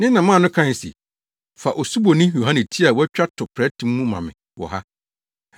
Ne na maa no kae se, “Fa Osuboni Yohane ti a wɔatwa to prɛte mu ma me wɔ ha.”